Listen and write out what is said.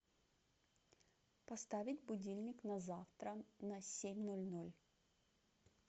поставить будильник на завтра на семь ноль ноль